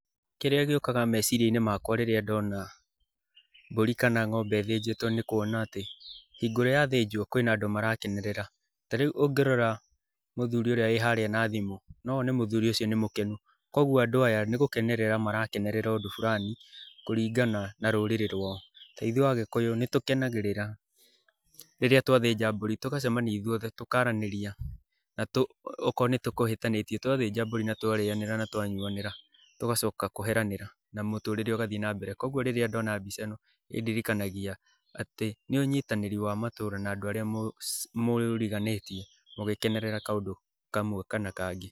Kĩrĩa gĩũkaga meciria-inĩ makwa rĩĩa ndona mbũri kana ng'ombe ĩthĩnjitwo, nĩ kuona atĩ, hingo ĩrĩa yathĩnjwo, kwĩna andũ marakenerera. Ta rĩu ũngĩrora mũthuri ũrĩa wĩ haríĩ na thimũ, no wone mũthuri ũcio nĩ mũkenu. Kũoguo andũ aya nĩgũkenerera marakenerera ũndũ burani kũringana na rũrĩrĩ rũao. Ta ithuĩ agĩkũyũ, nĩ tũkenagĩrĩra rĩrĩa twathĩnja mbũri tũgacemania ithuothe na akorwo nĩ tũkũhĩtanĩtie, twathĩnja mbũri na twarĩanĩra na twanyuanĩra, tũgacoka kũheranĩra na mũtũrĩre ũgathiĩ na mbere, kũoguo rĩrĩa ndona mbica ĩno ĩ ndirikanagia atĩ nĩ ũnyitanĩri wa matũra na andũ aríĩ mũriganĩtie mũgĩkenerera kaũndũ kamwe kana kangĩ.